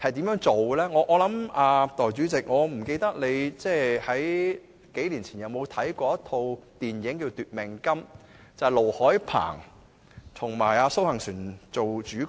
代理主席，我不知道你數年前有沒有看過一齣電影"奪命金"，此電影由盧海鵬和蘇杏璇主演。